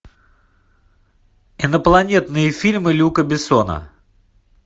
инопланетные фильмы люка бессона